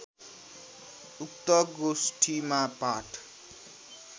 उक्त गोष्ठीमा पाठ